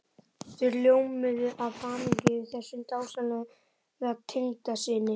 Þau ljómuðu af hamingju yfir þessum dásamlega tengdasyni.